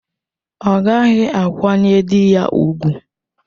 Ọ ghaghị ịkwanyere di ya ùgwù!